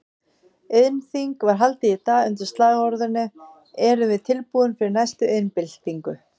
Iðnþing var haldið í dag undir slagorðinu Erum við tilbúin fyrir næstu iðnbyltingu?